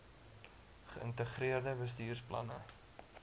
ge ïntegreerde bestuursplanne